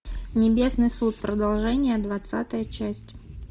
небесный суд продолжение двадцатая часть